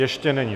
Ještě není.